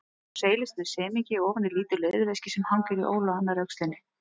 Hún seilist með semingi ofan í lítið leðurveski sem hangir í ól á annarri öxlinni.